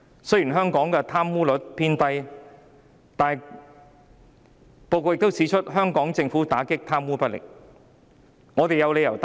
雖然香港的貪污率偏低，但報告亦指出香港政府打擊貪污不力。